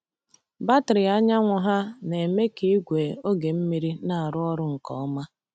Batrị anyanwụ ha na-eme ka igwe oge mmiri na-arụ ọrụ nke ọma.